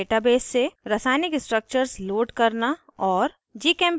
* pubchem database से रासायनिक structures load करना और